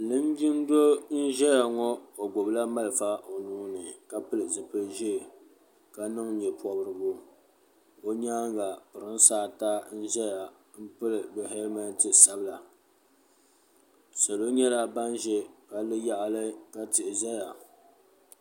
Linjin doo n ʒɛya ŋɔ o gbibi la malifa o nuuni ka pili zipil'ʒee ka niŋ nyepobrigu o nyaanga pirinsi ata n zaya n pili bɛ helimenti sabla salo nyɛla ban ʒɛ palli yaɣali ka tihi zaya.